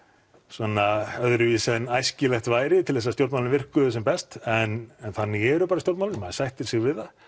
svona öðruvísi en æskilegt væri til þess að stjórnmálin virkuðu sem best en þannig eru bara stjórnmálin maður sættir sig við það